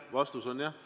Vastus on jah.